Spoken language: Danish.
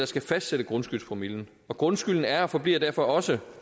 skal fastsætte grundskyldspromillen og grundskylden er og forbliver derfor også